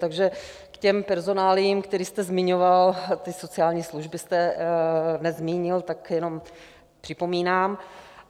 Takže k těm personáliím, které jste zmiňoval, ty sociální služby jste nezmínil, tak jenom připomínám.